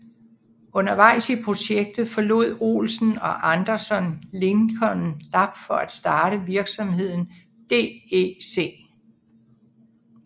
Undervejs i projektet forlod Olsen og Anderson Lincoln Lab for at starte virksomheden DEC